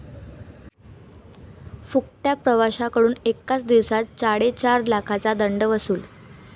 फुकट्या' प्रवाशांकडून एकाच दिवसात चाडेचार लाखांचा दंड वसूल